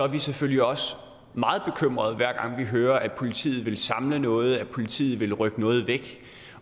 vi selvfølgelig også meget bekymrede hver gang vi hører at politiet vil samle noget og at politiet vil rykke noget væk